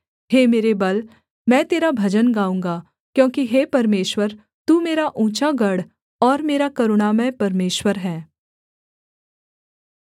हे मेरे बल मैं तेरा भजन गाऊँगा क्योंकि हे परमेश्वर तू मेरा ऊँचा गढ़ और मेरा करुणामय परमेश्वर है